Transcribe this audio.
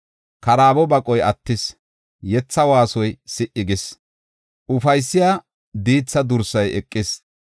Karaabo baqoy attis; yetha waasoy si77i gis; ufaysiya diitha dursay eqis.